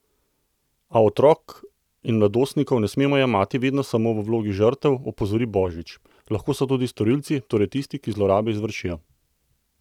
A otrok in mladostnikov ne smemo jemati vedno samo v vlogi žrtev, opozori Božič: 'Lahko so tudi storilci, torej tisti, ki zlorabe izvršijo.